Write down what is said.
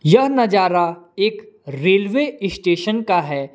यह नजारा एक रेलवे स्टेशन का है।